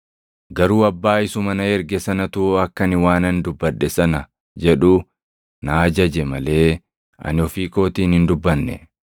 Garuu Abbaa isuma na erge sanatu akka ani waanan dubbadhe sana jedhu na ajaje malee ani ofii kootiin hin dubbanne.